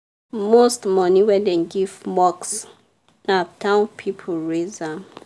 most money wey dem give mosque na town people raise m